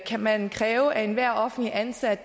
kan man kræve at enhver offentligt ansat